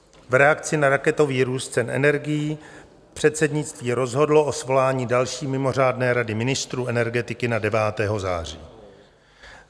V reakci na raketový růst cen energií předsednictví rozhodlo o svolání další mimořádné Rady ministrů energetiky na 9. září.